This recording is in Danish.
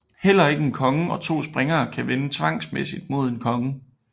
Heller ikke en konge og to springere kan vinde tvangsmæssigt mod en konge